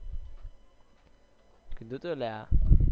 કીધું તું લ્યા